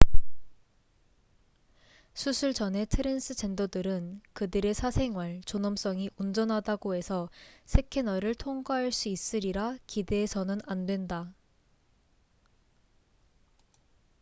수술 전의 트랜스젠더들은 그들의 사생활 존엄성이 온전하다고 해서 스캐너를 통과할 수 있으리라 기대해서는 안 된다